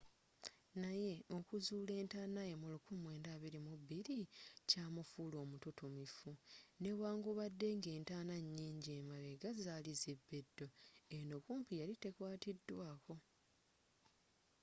naye okuzuula entanaaye mu 1922 kyamufuula omututumufu newankubadde nga entaana nyinji emabega zaali zibbiddwa eno kumpi yali tekwaatiddwaako